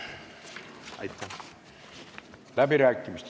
Avan läbirääkimised.